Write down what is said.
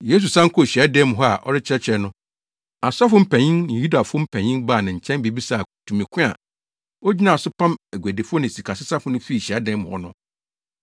Yesu san kɔɔ hyiadan mu hɔ a ɔrekyerɛkyerɛ no, asɔfo mpanyin ne Yudafo mpanyin baa ne kyɛn bebisaa no tumi ko a ogyina so pam aguadifo ne sikasesafo no fii hyiadan mu hɔ no.